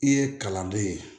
I ye kalanden ye